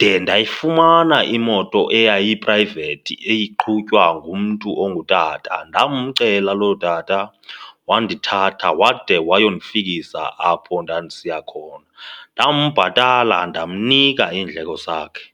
de ndayifumana imoto eyayiprayivethi iqhutywa ngumntu ongutata. Ndamcela loo tata wandithatha wade wayo kundifikisa apho ndandisiya khona. Ndambhatala ndamnika iindleko zakhe.